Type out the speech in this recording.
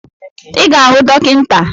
I ga-ahụ dọkịta